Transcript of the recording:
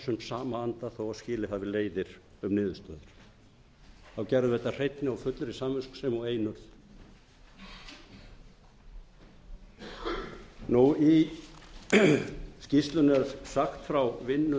þó að skilið hafi leiðir um niðurstöður þá gerðum við þetta af hreinni og fullri samviskusemi og einurð í skýrslunni er sagt frá vinnu þingmannanefndarinnar við höfum fundað